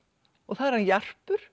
og það er hann